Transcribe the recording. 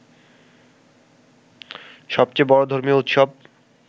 সবচেয়ে বড় ধর্মীয় উৎসব